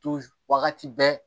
wagati bɛɛ